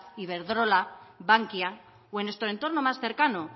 iberdrola bankia o en nuestro entorno más cercano